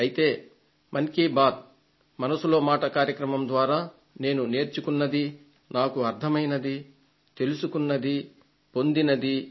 అయితే మన్ కీ బాత్ మనసులో మాట కార్యక్రమం ద్వారా నేను నేర్చుకున్నదీ నాకు అర్థమైందీ నేను తెలుసుకున్నదీ పొందినదీ